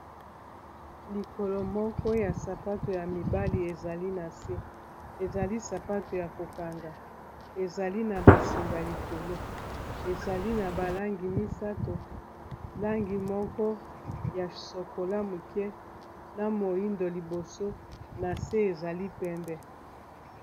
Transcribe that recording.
likolo moko ya sapato ya mibali ezali na se ezali sapato ya kokanga ezali na basinga likolo ezali na balangi misato langi moko ya sokola muke na moindo liboso na se ezali pembe